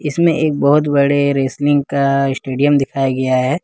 इसमें एक बहुत बड़े रेसलिंग का स्टेडियम दिखाया गया है।